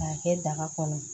K'a kɛ daga kɔnɔ